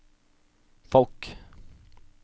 folk